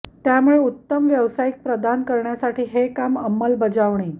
त्यामुळे उत्तम व्यावसायिक प्रदान करण्यासाठी हे काम अंमलबजावणी